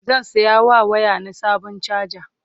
zan saya wa waya na Sabon chaja